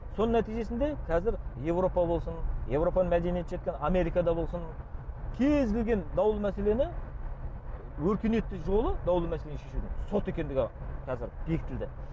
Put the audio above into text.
соның нәтижесінде қазір еуропа болсын еуропаның мәдениеті жеткен америкада болсын кез келген даулы мәселені өркениетті жолы даулы мәселені шешудің сот екендігі қазір бекітілді